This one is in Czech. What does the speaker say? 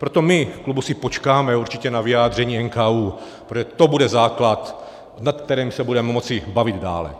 Proto my v klubu si počkáme určitě na vyjádření NKÚ, protože to bude základ, nad kterým se budeme moci bavit dále.